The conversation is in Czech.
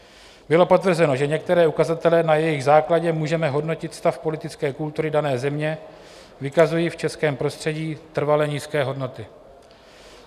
Bylo potvrzeno, že některé ukazatele, na jejichž základě můžeme hodnotit stav politické kultury dané země, vykazují v českém prostředí trvale nízké hodnoty.